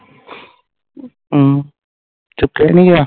ਅਮ ਸੁਤਿਆ ਸੀਗਾ